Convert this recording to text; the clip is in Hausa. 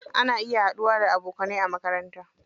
Ana haɗuwa da abokanai a makaranta.